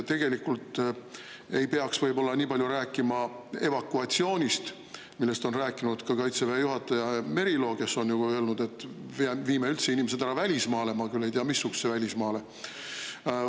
Tegelikult ei peaks võib-olla nii palju rääkima evakuatsioonist, millest on rääkinud ka Kaitseväe juhataja Merilo, kes on ju öelnud, et viime üldse inimesed ära välismaale – ma küll ei tea, missugusele välismaale.